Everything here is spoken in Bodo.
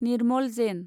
निर्मल जेन